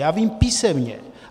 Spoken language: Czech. Já vím - písemně.